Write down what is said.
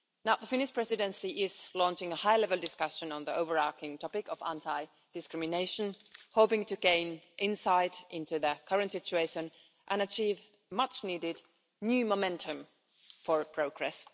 The Finnish Presidency is launching a high level discussion on the overarching topic of anti discrimination, hoping to gain insight into the current situation and achieve much-needed new momentum for progress.